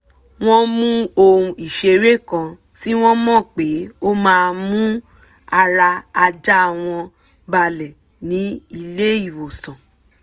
wọ́n mú ohun ìṣeré kan tí wọ́n mọ̀ pé ó máa ń mú ara ajá wọn balẹ̀ ní ilé ìwòsàn